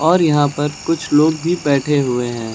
और यहां पर कुछ लोग भी बैठे हुए हैं।